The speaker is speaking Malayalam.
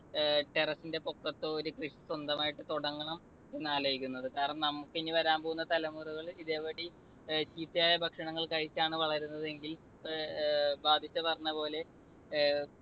ഏർ terrace ന്റെ പൊക്കത്തോ ഒരു കൃഷി സ്വന്തമായിട്ട് തുടങ്ങണം എന്നാലോചിക്കുന്നത്. കാരണം നമുക്ക് ഇനി വരാൻ പോകുന്ന തലമുറകൾ ഇതേ പടി ചീത്തയായ ഭക്ഷണങ്ങൾ കഴിച്ചാണ് വളരുന്നതെങ്കിൽ ഏർ പറഞ്ഞപ്പോലെ അഹ്